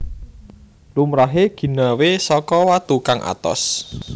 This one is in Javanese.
Lumrahé ginawé saka watu kang atos